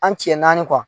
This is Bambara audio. An cɛ naani